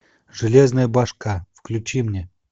железная башка включи мне